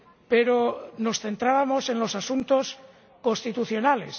Pero nos centrábamos en los asuntos constitucionales.